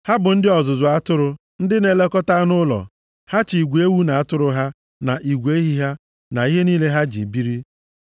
Ha bụ ndị ọzụzụ atụrụ, ndị na-elekọta anụ ụlọ. Ha chị igwe ewu na atụrụ ha, na igwe ehi ha, na ihe niile ha ji biri.’